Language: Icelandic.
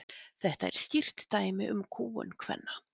Þetta er skýrt dæmi um kúgun kvenna.